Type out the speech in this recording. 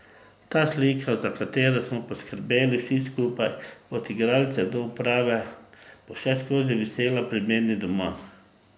Ta slika, za katero smo poskrbeli vsi skupaj od igralcev do uprave, bo vseskozi visela pri meni doma.